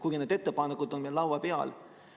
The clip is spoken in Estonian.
Aga need ettepanekud on meil laua peal.